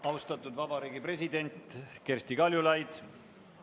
Austatud Vabariigi President Kersti Kaljulaid!